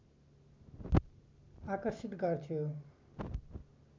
आकर्षित गर्थ्यो